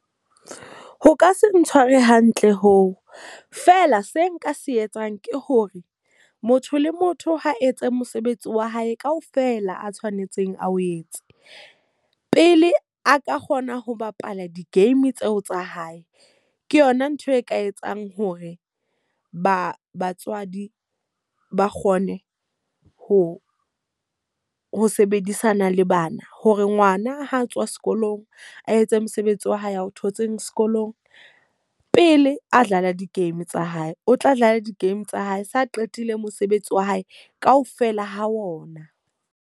Ho ka se ntshware hantle hoo, feela se nka se etsang ke hore motho le motho ha etse mosebetsi wa hae ka ofela a tshwanetseng a o etse. Pele a ka kgona ho bapala di-game tseo tsa hae. Ke yona ntho e ka etsang hore ba batswadi ba kgone ho ho sebedisana le bana. Hore ngwana ha a tswa sekolong, a etse mosebetsi wa hae a o thotseng sekolong pele a dlala di-game tsa hae. O tla dlala di-game tsa hae se a qetile mosebetsi wa hae ka ofela ho ona.